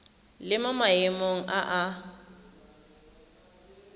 le mo maemong a a